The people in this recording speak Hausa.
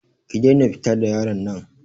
Ki daina fita da yaron nan.